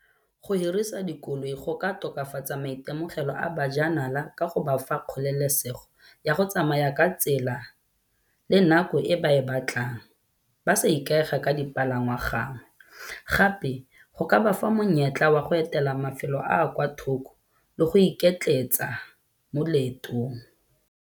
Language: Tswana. Go hirisa dikoloi go ka tokafatsa maitemogelo a bajanala ka go ba fa kgololesego ya go tsamaya ka tsela le nako e ba e batlang. Ba sa ikaega ka dipalangwa gangwe. Gape go ka ba fa monyetla wa go etela mafelo a a kwa thoko le go iketletsa mo leetong.